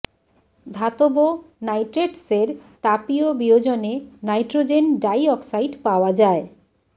ধাতব নাইট্রেটসের তাপীয় বিয়োজনে নাইট্রোজেন ডাই অক্সাইড পাওয়া যায়ঃ